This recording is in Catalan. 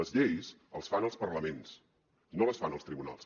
les lleis les fan els parlaments no les fan els tribunals